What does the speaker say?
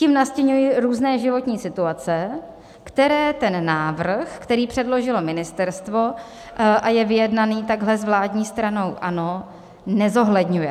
Tím nastiňuji různé životní situace, které ten návrh, které předložilo ministerstvo a je vyjednaný takhle s vládní stranou ANO, nezohledňuje.